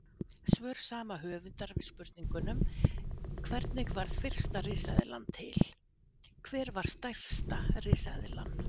Svör sama höfundar við spurningunum Hvernig varð fyrsta risaeðlan til?, Hver var stærsta risaeðlan?